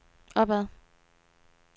opad